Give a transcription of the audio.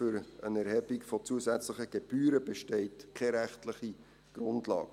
Für eine Erhebung zusätzlicher Gebühren besteht keine rechtliche Grundlage.